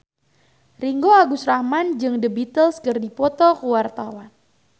Ringgo Agus Rahman jeung The Beatles keur dipoto ku wartawan